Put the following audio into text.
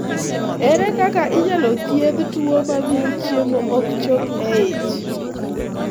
Ere kaka inyalo thiedh tuwo mamio chiemo ok chop e ich?